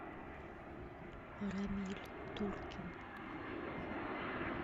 рамиль туркин